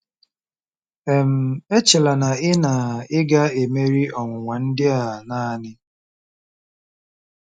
um Echela na ị na ị ga-emeri ọnwụnwa ndị a naanị.